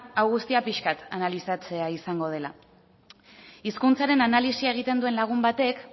hau guztia pixka bat analizatzea izango dela hizkuntzaren analisia egiten duten lagun batek